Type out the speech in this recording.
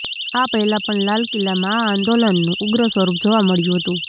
આ પહેલા પણ લાલ કિલ્લામાં આ આંદોલનનું ઉગ્ર સ્વરૂપ જોવા મળ્યું હતું